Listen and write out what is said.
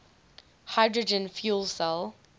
hydrogen fuel cell